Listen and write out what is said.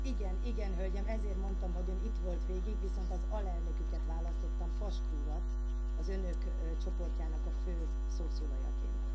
Igen, Hölgyem, ezért mondtam, hogy Ön itt volt végig, viszont az alelnöküket választottam, Pascu urat, az Önök csoportjának a fő szószólajaként.